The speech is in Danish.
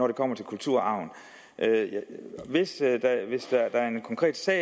det kommer til kulturarven hvis det er en konkret sag